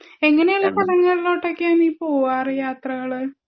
എങ്ങിനെ ഉള്ള സ്ഥലങ്ങളിലോട്ട് ഒക്കെ ആണ് നീ പോവാർ യാത്രകൾ